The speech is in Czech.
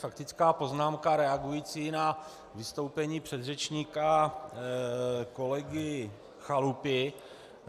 Faktická poznámka reagující na vystoupení předřečníka kolegy Chalupy.